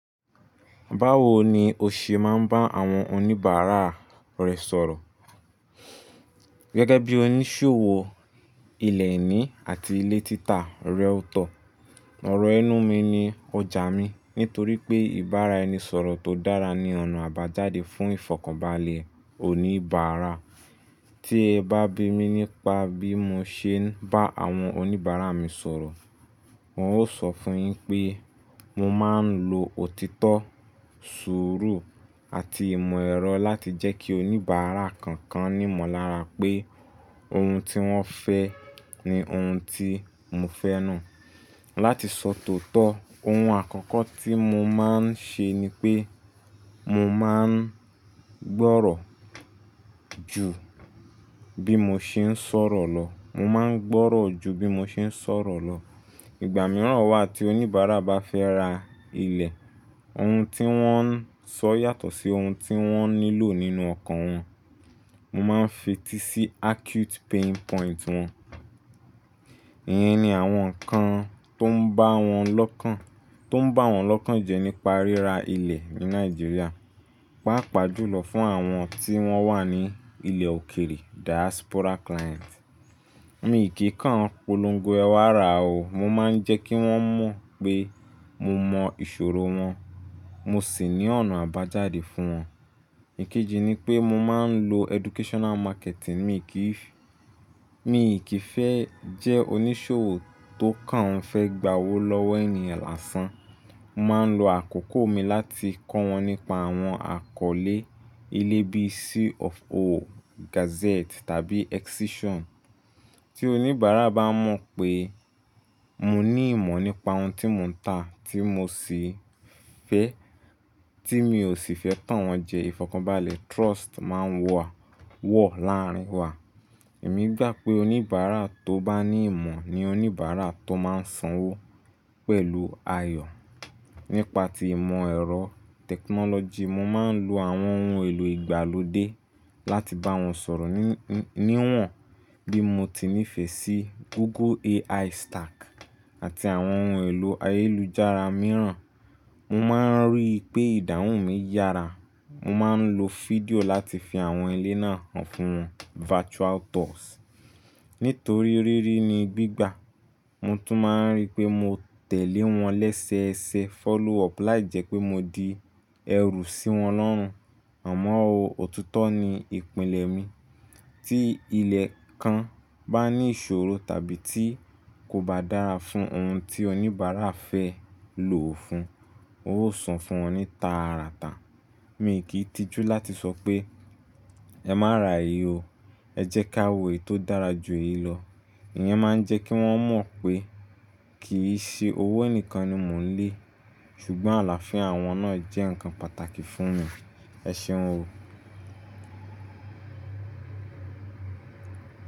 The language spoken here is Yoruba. Báwo ni o ṣe máa ń bá àwọn oníbàárà rẹ sọ̀rọ̀? Gẹ́gẹ́ bí oníṣòwò ilẹ̀ ení àti ilé títà realtor, ọ̀rọ̀ ẹnu mi ni ọjà mi nítorí pé ìbára ẹni sọ̀rọ̀ tó dára ní ọ̀nà àbájáde fún ìfọ̀kànbalẹ̀ oníbàárà. Tí ẹ bá bi mí nípa bí mo ṣe ń bá àwọn oníbàárà mi sọ̀rọ̀, wọn ó sọ fún yín pé mo máa ń lo òtítọ́, sùúrù àti ìmọ̀ ẹ̀rọ láti jẹ́ kí oníbàárà koo kan ní ìmọ̀lára pé ohun tí wọ́n fẹ́ ni ohun tí mo fẹ́ náà. Láti sọ tóotọ́, ohun àkọ́kọ́ tí mo máa ń ṣe ni pé mo máa ń gbọ́rọ̀ ju bí mo ṣe ń sọ̀rọ̀ lọ. Mo máa ń gbọ́rọ̀ ju bí mo ṣe ń sọ̀rọ̀ lọ. Ìgbà míràn wà tí oníbàárà bá fẹ́ ra ilẹ̀, ohun tí wọ́n ń sọ yàtọ̀ sí ohun tí wọ́n nílò nínú ọkàn wọn. Mo máa ń fetí sí acute pain point wọn. Iyẹn ni àwọn nǹkan tó ń bá wọn lọ́kàn, tó ń bá wọn lọ́kàn jẹ nípa ríra ilẹ̀ ní Nàìjíríà. Páà pàá jùlọ fún àwọn tí wọ́n wà ní ilẹ̀ òkèrè diaspora client. Mi o kì kàn polongo ẹwà ra o, mo máa ń jẹ́ kí wọ́n mọ̀ pé mo mọ ìṣòro wọn, mo sì ní ọ̀nà àbájáde fún wọn. Ikejì ni pé mo máa ń lo educational marketing. Mi kìí, mi kì í fẹ́ jẹ́ oníṣòwò tó kàn fẹ́ gba owó lọ́wọ́ ènìyàn lásán. Mo máa ń lo àkókò mi láti kọ́ wọn nípa àwọn àkọlé ilé bí C of O, gazette tàbí excision. Tí oníbàárà bá mọ̀ pé mo ní ìmọ̀ nípa ohun tí mò ń tà tí mo sì fẹ́, tí mi ò sì fẹ́ tán wọn jẹ, ìfọ̀kànbalẹ̀ trust máa n wa, wọ̀ láàárín wa. Èmi gbà pé oníbàárà tó bá ní ìmọ̀ ni oníbàárà tó máa san owó pẹ̀lú ayọ̀. Nípa ti ìmọ̀ ẹ̀rọ technology, mo máa ń lo àwọn ohun èlò ìgbàlódé láti bá wọn sọ̀rọ̀, níwọ̀n bí mo ti nífẹ̀ẹ́ sí Google AI stack àti àwọn ohun èlò ayélujára mìràn. Mo máa ń rí i pé ìdáhùn mi yára. Mo máa ń lo fídíò láti fi àwọn ilé náà hàn fún wọn virtual tours. Nítorí rírí ni gbígbà. Mo tún máa ń rí pé mo tẹ̀lé wọn lẹ́sẹẹsẹ follow up láìjẹ́ pé mo di ẹrù sí wọn lọ́run. Àmọ́ o, òtito ni ìpìlẹ̀ mi. Tí ilẹ̀ kan bá ní ìṣòro tàbí tí kò bá dára fún ohun tí oníbàárà fẹ́ lò ó fún, ó so fún wọn ní taa rata. Mi kì í tijú láti sọ pé "Ẹ má ra èyí o, ẹ jẹ́ ká wò èyí tó dára ju èyí lọ." Iyẹn máa ń jẹ́ kí wọ́n mọ̀ pé kì í ṣe owó nìkan ni mò ń lé, ṣùgbọ́n àlàáfía wọn náà jẹ́ nǹkan pàtàkì fún mi. Ẹ ṣeun o.